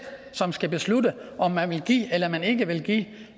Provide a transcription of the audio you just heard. som skal beslutte om man vil give eller man ikke vil give